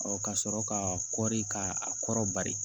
ka sɔrɔ ka kɔri ka a kɔrɔ bari